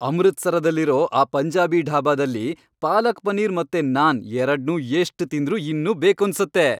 ಅಮೃತ್ಸರದಲ್ಲಿರೋ ಆ ಪಂಜಾಬಿ ಢಾಬಾದಲ್ಲಿ ಪಾಲಕ್ ಪನೀರ್ ಮತ್ತೆ ನಾನ್ ಎರಡ್ನೂ ಎಷ್ಟ್ ತಿಂದ್ರೂ ಇನ್ನೂ ಬೇಕೂನ್ಸತ್ತೆ.